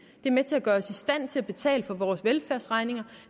de er med til at gøre os i stand til at betale for vores velfærdsregninger